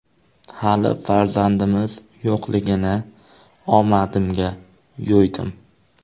Hali farzandimiz yo‘qligini omadimga yo‘ydim.